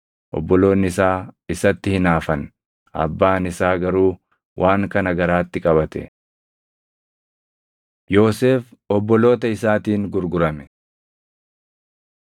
Obboloonni isaa isatti hinaafan; abbaan isaa garuu waan kana garaatti qabate. Yoosef Obboloota Isaatiin Gurgurame